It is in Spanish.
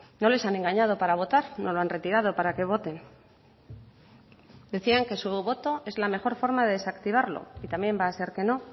no les han engañado para votar no lo han retirado para que voten decían que su voto es la mejor forma de desactivarlo y también va a ser que no